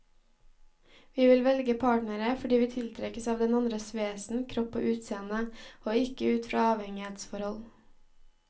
Vi vil velge partnere fordi vi tiltrekkes av den andres vesen, kropp og utseende, og ikke ut fra avhengighetsforhold.